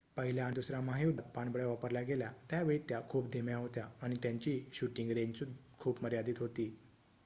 पहिल्या आणि दुसर्‍या महायुद्धात पाणबुड्या वापरल्या गेल्या त्यावेळी त्या खूप धीम्या होत्या आणि त्यांची शूटिंग रेंज खूप मर्यादित होती